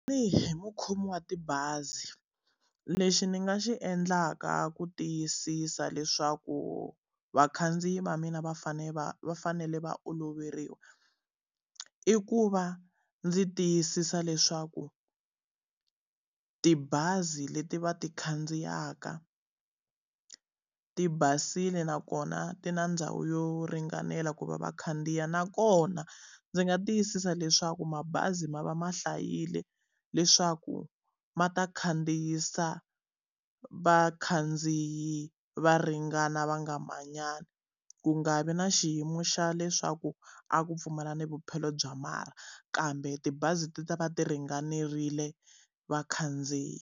Tanihi mukhomi wa tibazi, lexi ni nga xi endlaka ku tiyisisa leswaku vakhandziyi va mina va fanele va va fanele va oloveriwa. I ku va ndzi tiyisisa leswaku tibazi leti va ti khandziyaka ti basile nakona ti na ndhawu yo ringanela ku va va khandziya nakona ndzi nga tiyisisa leswaku mabazi ma va ma hlayile leswaku ma ta khandziyisa vakhandziyi va ringana va nga manyani. Ku nga vi na xiyimo xa leswaku a ku pfumala na vupyelo bya marha kambe tibazi ti ta va ti ringanerile vakhandziyi.